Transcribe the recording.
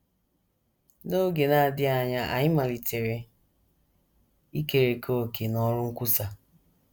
N’oge na - adịghị anya, anyị malitere ikerekọ òkè n’ọrụ nkwusa.